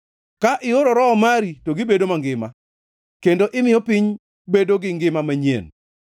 Ka ioro Roho mari, to gibedo mangima; kendo imiyo piny bedo gi ngima manyien.